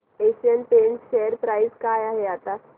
Asian Paints share price काय आहे आता